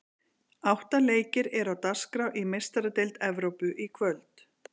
Átta leikir eru á dagskrá í Meistaradeild Evrópu í kvöld.